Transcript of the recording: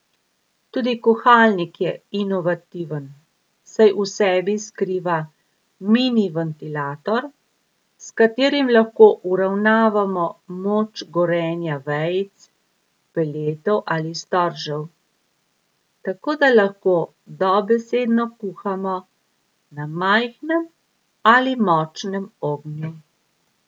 Tudi kuhalnik je inovativen, saj v sebi skriva mini ventilator, s katerim lahko uravnamo moč gorenja vejic, peletov ali storžev, tako da lahko dobesedno kuhamo na majhnem ali močnem ognju.